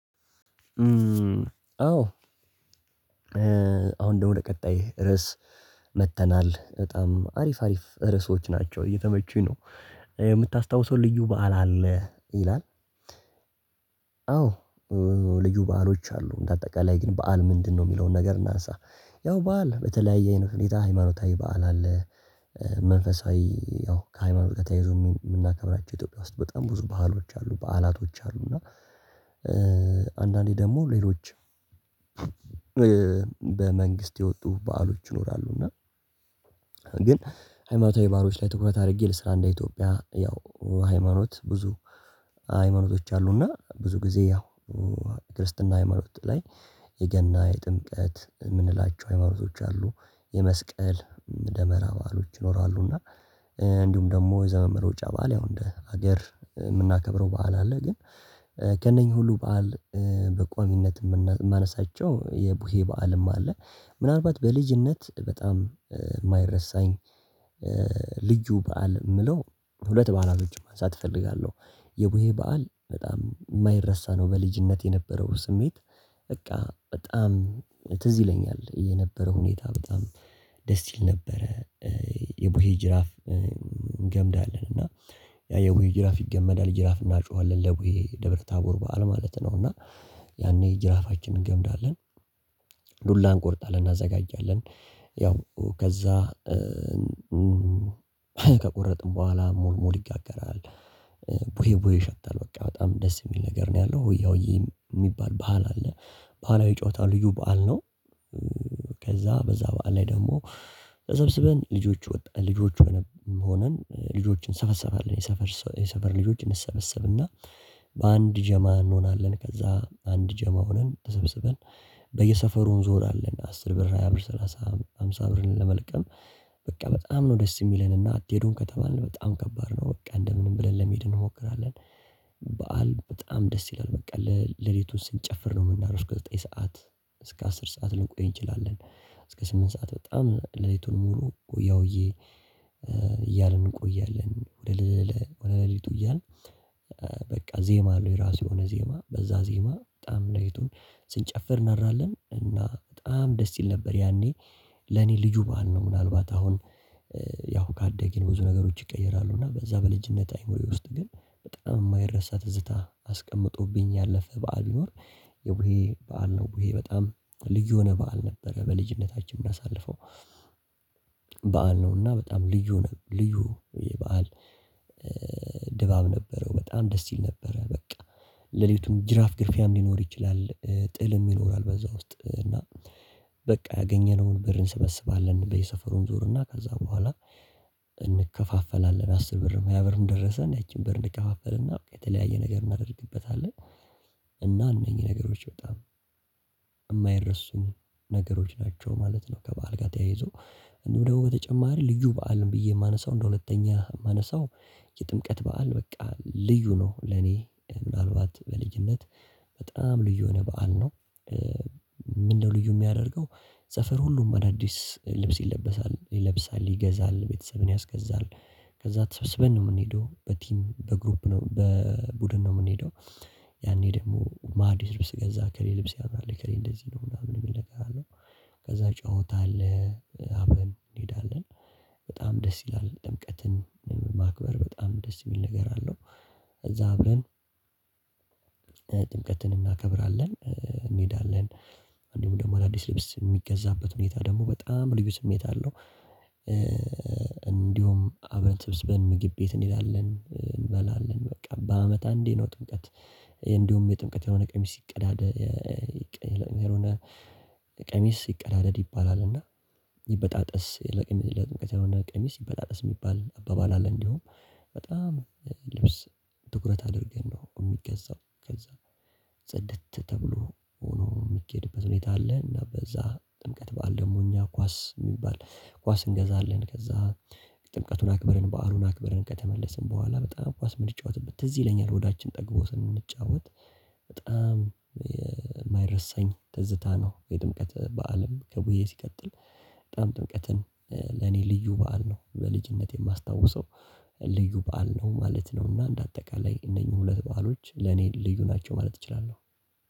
አዎ አሁን ደግሞ ለቀጣይ ርዕስ መጥተናል በጣም አሪፍ አሪፍ ርዕሶች ናቸው እየተመቹኝ ነው የምታስታውሰው ልዩ በዓል አለ ይላል አዎ ልዩ በዓሎች አሉ እንደ አጠቃላይ ግን በዓል ምንድነው የሚለውን ነገር እናንሳ ያው በዓል በተለያየ አይነት ሁኔታ ሃይማኖታዊ በዓል አለ መንፈሳዊ ያው ከሃይማኖት ጋር ተያይዞ የምናከብራቸው ኢትዮጵያ ውስጥ በጣም ብዙ ባህሎች አሉ በዓላቶች አሉ እና አንዳንዴ ደግሞ ሌሎች በመንግስት የወጡ በዓሎች ይኖራሉ እና ሃይማኖታዊ በዓሎች ላይ ትኩረት አድርጌ ልስራ እንደ ኢትዮጵያ ያው ሃይማኖት ብዙ ሃይማኖቶች አሉና ብዙ ጊዜ ያው የክርስትና ሃይማኖት ላይ የገና የጥምቀት የምንላቸው ሃይማኖቶች አሉ የመስቀል ደመራ ባህሎች ይኖራሉ እና እንዲሁም ደግሞ የዘመን መለወጫ በዓል ያው እንደ ሀገር የምናከብረው በዓል አለ ግን ከእነኚህ ሁሉ በዓል በቋሚነት የማነሳቸው የቡሄ በዓልም አለ ምናልባት በልጅነት በጣም የማይረሳኝ ልዩ በዓል የምለው ሁለት በዓላቶችን ማንሳት እፈልጋለሁ የቡሄ በዓል በጣም የማይረሳ ነው በልጅነት የነበረው ስሜት በቃ በጣም ትዝ ይለኛል የነበረው ሁኔታ በጣም ደስ ይል ነበረ የቡሄ ጅራፍ እንገምዳለን እና ያው የቡሄ ጅራፍ ይገመዳል ጅራፍ እናጮሃለን ለቡሄ ደብረ ታቦር በዓል ማለት ነው እና ያኔ ጅራፋችንን እንገምዳለን ዱላ እንቆርጣለን እናዘጋጃለን ያው ከዛ ከቆረጥን በኋላ ሙልሙል ይጋገራል ቡሄ ቡሄ ይሸታል በቃ በጣም ደስ የሚል ነገር ነው ያለው ሆያ ሆዬ የሚባል ባህል አለ ባህላዊ ጨዋታ ልዩ በዓል ነው ከዛ በዛ በዓል ላይ ደግሞ ተሰብስበን ልጆች ወጣት ልጆች ሆነን ልጆችን እንሰባሰባለን የሰፈር የሰፈር ልጆችን እንሰበሰብና በአንድ ጀማ እንሆናለን ከዛ አንድ ጀማ ሆነን ተሰብስበን በየሰፈሩ እዞራለን አስር ብር ሃያ ብር ሰላሳ ሃምሳ ብርን ለመልቀም በቃ በጣም ነው ደስ የሚለንና አትሄዱን ከተባልን በጣም ከባድ ነው በቃ እንደምንም ብለን ለመሄድ እንሞክራለን በዓል በጣም ደስ ይላል በቃ ሌሊቱን ስንጨፍር ነው ምናድር እስከ ዘጠኝ ሰዓት እስከ አስር ሰዓት ልንቆይ እንችላለን እስከ ስምንት ሰዓት በጣም ሌሊቱን ሙሉ ሆያ ሆዬ እያልን እንቆያለን ወደ ሌሊቱ እያልን በቃ ዜማ አለው የራሱ የሆነ ዜማ በዛ ዜማ በጣም ሌሊቱን ስንጨፍር እናድራለን እና በጣም ደስ ይል ነበር ያኔ ለኔ ልዩ ባህል ነው ምናልባት አሁን ያው ካደግን ብዙ ነገሮች ይቀየራሉ እና በዛ በልጅነት አእምሮዬ ውስጥ ግን በጣም የማይረሳ ትዝታ አስቀምጦብኝ ያለፈ በዓል ቢኖር የቡሄ በዓል ነው ቡሄ በጣም ልጅ የሆነ በዓል ነበረ በልጅነታችን እንዳሳልፈው በዓል ነውና በጣም ልዩ ነው። ልዩ የበአል ድባብ ነበረው በጣም ደስ ይል ነበረ በቃ ሌሊቱም ጅራፍ ግርፊያ ሊኖር ይችላል ጥልም ይኖራል በዛ ውስጥ እና በቃ ያገኘነውን ብር እንሰበስባለን በየሰፈሩም እንዞርና ከዛ በኋላ እንከፋፈላለን አስር ብር መቶ ብርም ደረሰን ያቺን ብር እንከፋፈልና የተለያየ ነገር እናደርግበታለን እና እነኚህ ነገሮች በጣም የማይረሱኝ ነገሮች ናቸው ማለት ነው ከበዓል ጋር ተያይዞ እንደው ደግሞ በተጨማሪ ልዩ በዓል ብዬ የማነሳው እንደ ሁለተኛ የማነሳው የጥምቀት በዓል በቃ ልዩ ነው ለኔ ምናልባት በልዩነት በጣም ልዩ የሆነ በዓል ነው ምንድነው ልዩ የሚያደርገው ሰፈር ሁሉም አዳዲስ ልብስ ይለብሳል ይለብሳል ይገዛል ቤተሰብን ያስገዛል ከዛ ተሰብስበን ነው የምንሄደው በቲም በግሩፕ ነው በቡድን ነው የምንሄደው ያኔ ደግሞ ማን አዲስ ልብስ ገዛ እገሌ ልብስ ያምራል እገሌ እንደዚህ ነው ምናምን የሚል ነገር አለ ከዛ ጨዋታ አለ አብረን እንሄዳለን በጣም ደስ ይላል ጥምቀትን ማክበር በጣም ደስ የሚል ነገር አለው እዛ አብረን ጥምቀትን እናከብራለን እንሄዳለን እንዲሁ ደግሞ አዳዲስ ልብስ የሚገዛበት ሁኔታ ደግሞ በጣም ልዩ ስሜት አለው እንዲሁም አብረን ተሰብስበን ምግብ ቤት እንሄዳለን እንበላለን በቃ በአመት አንዴ ነው ጥምቀት እንደውም የጥምቀት የሆነ ቀሚስ ሲቀዳደድ የሆነ ቀሚስ ይቀዳደድ ይባላልና ይበጣጠስ ለጥንቀት ያልሆነ ቀሚስ ይበጣጠስ የሚባል አባባል አለ እንዲሁም በጣም ልብስ ትኩረት አድርገን ነው የሚገዛው ከዛ ጽድት ተብሎ ሆኖ የሚኬድበት ሁኔታ አለ እና በዛ ጥምቀት በዓል ደግሞ እኛ ኳስ የሚባል ኳስ እንገዛለን ከዛ ጥምቀቱን አክብረን በዓሉን አክብረን ከተመለስን በኋላ በጣም ኳስ የምንጫወትበት ትዝ ይለኛል ሆዳችን ጠግቦ ስንጫወት በጣም የማይረሳኝ ትዝታ ነው የጥምቀት በአለም ከቡሄ ሲቀጥል በጣም ጥምቀትን ለኔ ልዩ በዓል ነው በልጅነቴ የማስታውሰው ልዩ በዓል ነው ማለት ነውና እንደ አጠቃላይ እነኚህ ሁለት በዓሎች ለኔ ልዩ ናቸው ማለት እችላለሁ